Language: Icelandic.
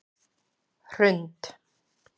Hrund